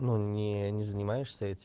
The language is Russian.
ну не не занимаешься этим